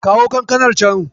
Kawo kankanar can.